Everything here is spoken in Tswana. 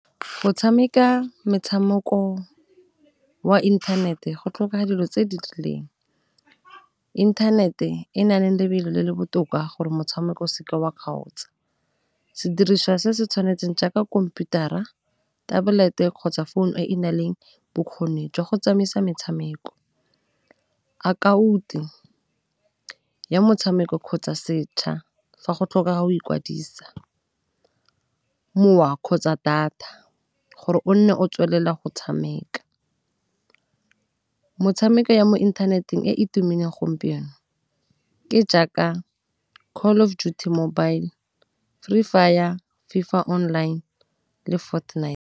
Go tshameka metshamoko wa inthanete go tlhoka dilo tse di rileng, inthanete e na leng lebelo le le botoka gore motshameko o seka wa kgaotsa, sediriswa se se tshwanetseng jaaka khomputara, tablet-e, kgotsa phone e e na leng bokgoni jwa go tsamaisa metshameko, ya motshameko kgotsa setšha fa go tlhokega o ikwadisa, mowa kgotsa data gore o nne o tswelela go tshameka. Metshameko ya mo inthaneteng e e tumileng gompieno ke jaaka Call of Duty Mobile, Free Fire, FIFA online, le Fortnite.